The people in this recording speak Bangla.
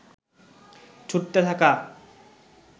ছুটতে থাকা